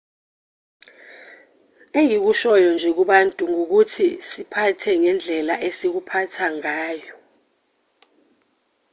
engikushoyo nje kubantu ngukuthi siphathe ngendlela esikuphatha ngayo